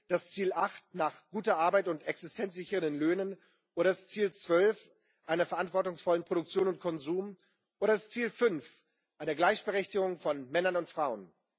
das Ziel 8 gute Arbeit und existenzsichernde Löhne oder das Ziel 12 einer verantwortungsvollen Produktion und Konsum oder das Ziel 5 einer Gleichberechtigung von Männern und Frauen.